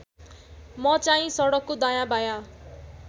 मचाहिँ सडकको दायाँबायाँ